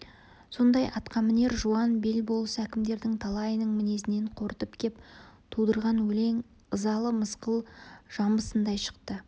сондай атқамінер жуан бел болыс әкімдердің талайының мінезінен қорытып кеп тудырған өлең ызалы мысқыл жамбысындай шықты